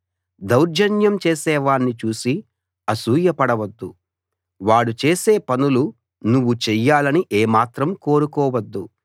దౌర్జన్యం చేసేవాణ్ణి చూసి అసూయ పడవద్దు వాడు చేసే పనులు నువ్వు చెయ్యాలని ఏమాత్రం కోరుకోవద్దు